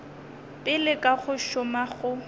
pele ka go šoma go